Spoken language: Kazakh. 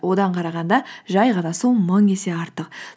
одан қарағанда жай ғана су мың есе артық